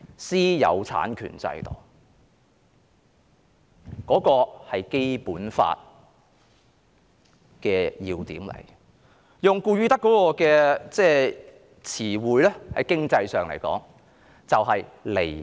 私有產權制度是《基本法》的要點。用顧汝德的詞彙，在經濟學上來說，便是離岸。